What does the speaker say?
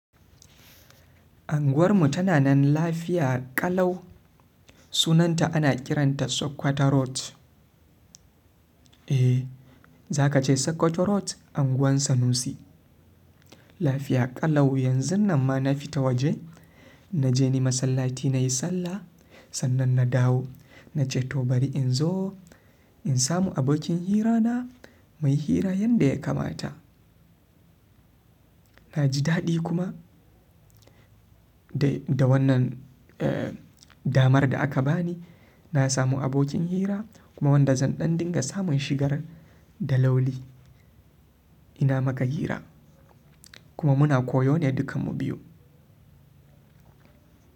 Anguwar mu tana nan lafiya ƙalau. Sunanta ana kiranta Sokoto Road. Eh, za ka ce Sokoto Road, unguwar Sanusi. Lafiya ƙalau yanzun nan ma na fita waje. Na je ni masallaci na yi sallah, sannan na dawo. Na ce to bari in zo in samu abokin hirana muyi hira yanda ya kamata. Na ji daɗi kuma da wannan, eh, damar da aka bani. Na samu abokin hira kuma wanda zan ɗan dinga samun shigar da lauli. Ina maka hira kuma muna koyo ne dukanmu biyu.